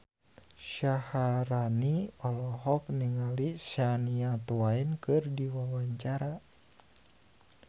Syaharani olohok ningali Shania Twain keur diwawancara